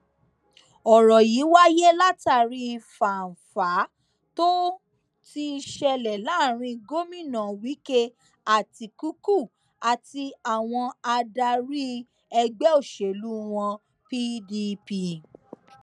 ọrọ yìí wáyé látàrí fánfàá tó ti ń ṣẹlẹ láàrin gómìnà wike àtikukú àti àwọn adarí ẹgbẹ òṣèlú wọn pdp